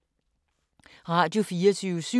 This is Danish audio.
Radio24syv